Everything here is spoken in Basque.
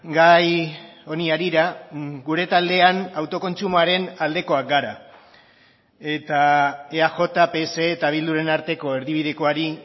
gai honi harira gure taldean autokontsumoaren aldekoak gara eta eaj pse eta bilduren arteko erdibidekoari